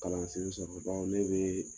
Kalan sen bao ne bɛ